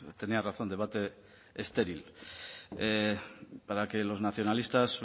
tenía razón debate estéril para que los nacionalistas